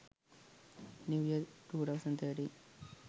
new year 2013